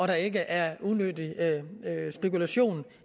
der ikke er unødig spekulation